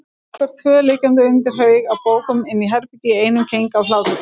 Okkur tvö liggjandi undir haug af bókum inni í herbergi í einum keng af hlátri.